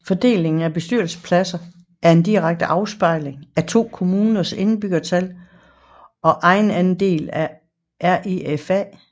Fordelingen af bestyrelsespladser er en direkte afspejling af to kommuners indbyggertal og ejerandel af REFA